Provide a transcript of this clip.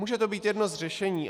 Může to být jedno z řešení.